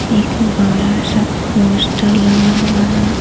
एक बड़ा सा पोस्टर लगा हुआ है।